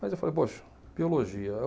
Mas eu falei, poxa, biologia.